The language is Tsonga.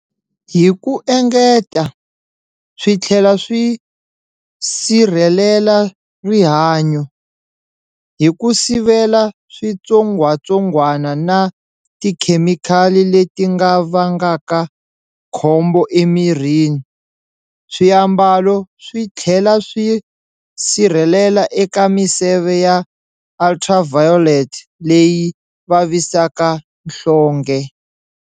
Hi ku engeta, swi thlela swi sirhelela rihanyo, hi ku sivela switsongwatsongwana na tikhemikhali letinga vangaka khombo emirini. Swiambalo swithlela swi sirhelela eka miseve ya Ultraviolet leyi vavisaka nhlonge.